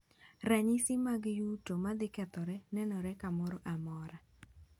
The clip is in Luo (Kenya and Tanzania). Ranyisi mag yuto ma dhi kethore nenore kamoro amora.